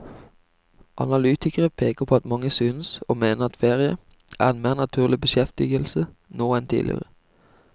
Analytikere peker på at mange synes å mene at ferie er en mer naturlig beskjeftigelse nå enn tidligere.